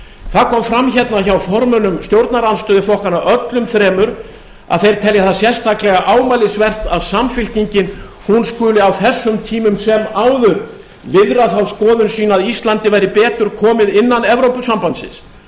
það kom fram hérna hjá formönnum stjórnarandstöðuflokkanna öllum þremur að þeir telja það sérstaklega ámælisvert að samfylkingin skuli á þessum tímum sem áður viðra þá skoðun sína að ísland væri áður komið innan evrópusambandsins